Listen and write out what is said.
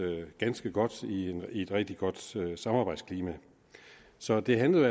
ganske godt i et rigtig godt samarbejdsklima så det handlede